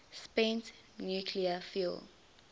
spent nuclear fuel